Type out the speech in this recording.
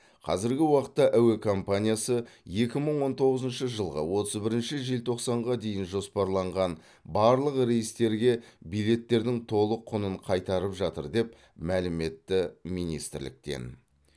қазіргі уақытта әуе компаниясы екі мың он тоғызыншы жылғы отыз бірінші желтоқсанға дейін жоспарланған барлық рейстерге билеттердің толық құнын қайтарып жатыр деп мәлім етті министрліктен